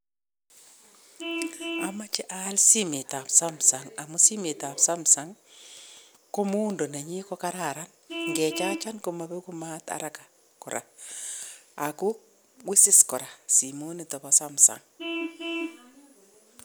Amache aal simetab Samsung amun simetab Samsung ko muundo nenyin kokararan nge chachan komapeku maat haraka kora ako usus kora simonito bo Samsung.